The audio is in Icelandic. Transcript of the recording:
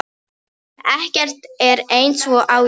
Ekkert er eins og áður.